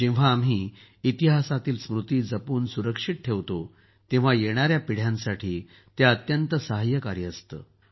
जेव्हा आम्ही इतिहासातील स्मृती जपून सुरक्षित ठेवतो तेव्हा येणाऱ्या पिढ्यांसाठी अत्यंत सहाय्यकारी असतं ते